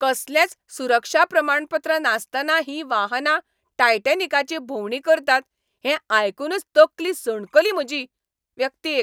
कसलेंच सुरक्षा प्रमाणपत्र नासतना हीं वाहनां टायटॅनिकाची भोंवडी करतात हें आयकूनच तकली सणकली म्हजी. व्यक्ती एक